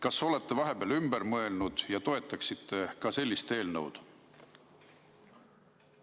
Kas te olete vahepeal ümber mõelnud ja toetaksite ka sellist eelnõu?